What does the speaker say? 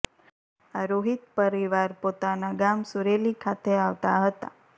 આ રોહિત પરિવાર પોતાના ગામ સુરેલી ખાતે આવતા હતા